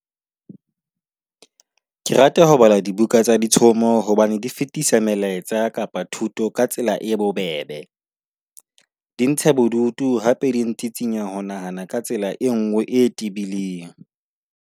Ke rata ho bala dibuka tsa ditshomo hobane di fetisa melaetsa kapa thuto ka tsela e bobebe. Di ntsha bodutu hape di ntsitsinya ho nahana ka tsela e nngwe e tebileng.